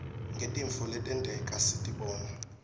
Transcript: ngetintfo letenteka sitibona